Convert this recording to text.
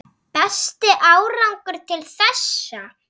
Besti árangur til þessa?